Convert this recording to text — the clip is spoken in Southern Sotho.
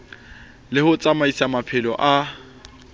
le ho tsamaisa maphelo a